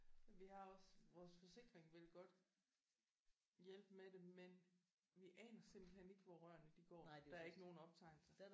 Vi har også vores forsikring vil godt hjælpe med det men vi aner simpelthen ikke hvor rørene de går. Der er ikke nogen optegnelser